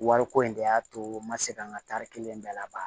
Wariko in de y'a to n ma se ka n ka tari kelen bɛɛ la